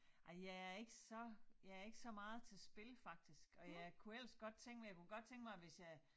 Ej jeg ikke så jeg ikke så meget til spil faktisk og jeg kunne helst godt tænke mig jeg kunne godt tænke mig hvis jeg